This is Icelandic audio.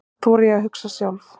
Víst þori ég að hugsa sjálf.